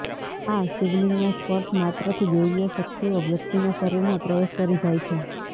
આ શિવલિંગના સ્પર્શ માત્રથી દૈવીય શક્તિઓ વ્યક્તિના શરીરમાં પ્રવેશ કરી જાય છે